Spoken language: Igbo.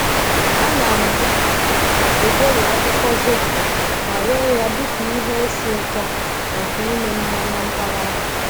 Ana m egweri akwụkwọ zobo ma ree ya dịka ihe esi ụtọ maka ime mmanya mpaghara.